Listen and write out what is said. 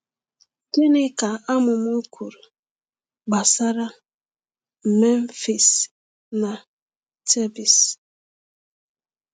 Gịnị ka amụma kwuru gbasara Memphis na Thebes?